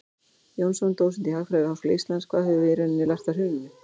Jónsson, dósent í hagfræði við Háskóla Íslands: Hvað höfum við í rauninni lært af hruninu?